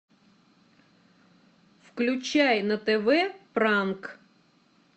включай на тв пранк